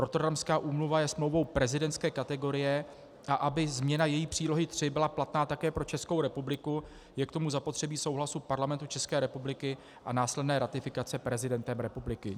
Rotterdamská úmluva je smlouvou prezidentské kategorie, a aby změna její Přílohy III byla platná také pro Českou republiku, je k tomu zapotřebí souhlasu Parlamentu České republiky a následné ratifikace prezidentem republiky.